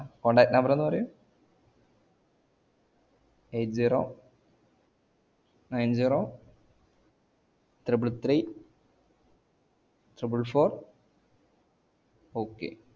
അഹ് contact number ഒന്നു പറയു eight zero nine zero triple three triple four okay